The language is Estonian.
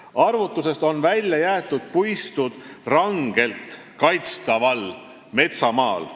Arvutusest on välja jäetud puistud rangelt kaitstaval metsamaal.